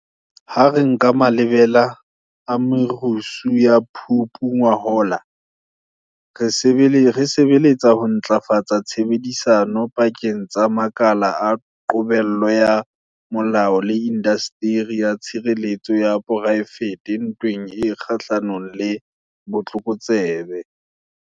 Ha re nka malebela a merusu ya Phupu ngwahola, re sebeletsa ho ntlafatsa tshebedisano pakeng tsa makala a qobello ya molao le indasteri ya tshireletso ya poraefete ntweng e kgahlanong le botlokotsebe.